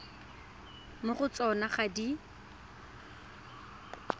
mo go tsona ga di